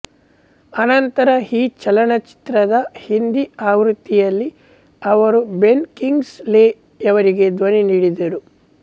ಅನಂತರ ಈ ಚಲನಚಿತ್ರದ ಹಿಂದಿ ಆವೃತ್ತಿಯಲ್ಲಿ ಅವರು ಬೆನ್ ಕಿಂಗ್ಸ್ ಲೆ ಯವರಿಗೆ ಧ್ವನಿ ನೀಡಿದರು